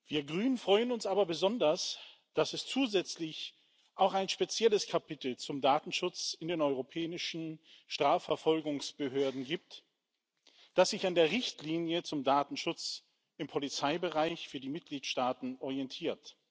Wir Grünen freuen uns aber besonders, dass es zusätzlich auch ein spezielles Kapitel zum Datenschutz in den europäischen Strafverfolgungsbehörden gibt, das sich an der Richtlinie zum Datenschutz im Polizeibereich für die Mitgliedstaaten orientiert.